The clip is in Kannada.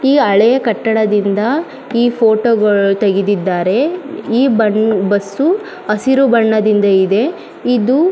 ಈ ಹಳೆಯ ಕಟ್ಟಡದಿಂದ ಈ ಫೋಟೋ ಗ ತೆಗೆದಿದ್ದಾರೆ ಈ ಬನ್ ಬಸ್ಸು ಹಸಿರು ಬಣ್ಣದಿಂದ ಇದೆ ಇದು--